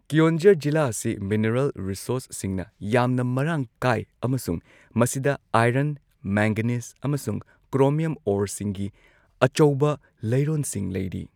ꯀꯦꯑꯣꯟꯓꯔ ꯖꯤꯂꯥ ꯑꯁꯤ ꯃꯤꯅꯔꯦꯜ ꯔꯤꯁꯣꯔꯁꯁꯤꯡꯅ ꯌꯥꯝꯅ ꯃꯔꯥꯡ ꯀꯥꯏ ꯑꯃꯁꯨꯡ ꯃꯁꯤꯗ ꯑꯥꯏꯔꯟ, ꯃꯦꯡꯒꯅꯤꯖ ꯑꯃꯁꯨꯡ ꯀ꯭ꯔꯣꯃꯤꯌꯝ ꯑꯣꯔꯁꯤꯡꯒꯤ ꯑꯆꯧꯕ ꯂꯩꯔꯣꯟꯁꯤꯡ ꯂꯩꯔꯤ꯫